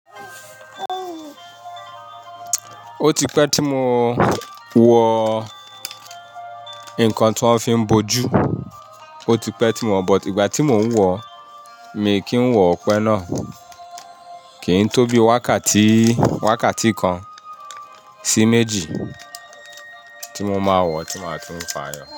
Ó ti pẹ́ tí mo wo ńǹkan tó n fi bo jù, ó ti pẹ́ tí mo wo, but ìgbà tí mo ń wo, mi kì í wo pẹ náà. Kì í tó bí wákàtí, wákàtí kan sí méjì tí mo máa wọ̀ tí màá tún fààyo.